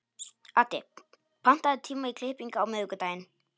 Addi, pantaðu tíma í klippingu á miðvikudaginn.